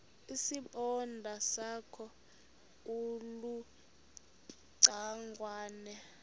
isibonda sakho ulucangwana